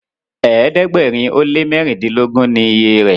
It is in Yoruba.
ẹ̀ẹ́dẹ̀gbẹ̀rin o lẹ mẹrindilogun ni ìyè rẹ.